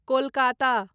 Kolkata